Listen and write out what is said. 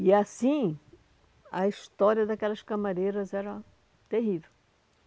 E assim, a história daquelas camareiras era terrível.